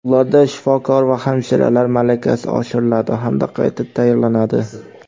ularda shifokor va hamshiralar malakasi oshiriladi hamda qayta tayyorlanadi;.